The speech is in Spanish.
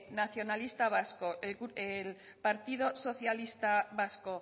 nacionalista vasco el partido socialista vasco